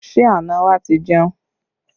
Ṣé àna wa ti jẹun?